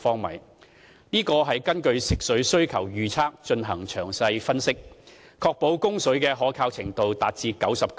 為制訂這個上限，我們根據食水需求預測進行詳細分析，並確保供水的可靠程度達 99%。